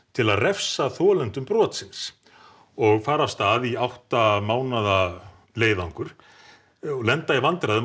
til að refsa þolendum brotsins og fara af stað í átta mánaða leiðangur og lenda í vandræðum